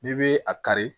N'i bɛ a kari